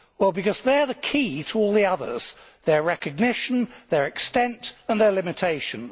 Because they are the key to all the others their recognition, their extent and their limitations.